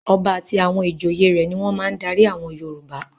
Ọba àti àwọn ìjòyè rẹ̀ ni wọ́n máa ń darí àwọn Yorùbá.